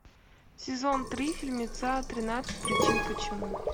сезон три фильмеца тринадцать причин почему